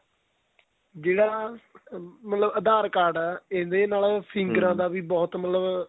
ਜਿਹੜਾ ਮਤਲਬ aadhar card ਆਂ ਇਹਦੇ ਨਾਲ ਦਾ ਵੀ ਬਹੁਤ ਮਤਲਬ